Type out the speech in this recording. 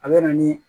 A bɛ na ni